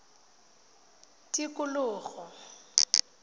tikologo